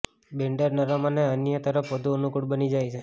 બેન્ડર નરમ અને અન્ય તરફ વધુ અનુકૂળ બની જાય છે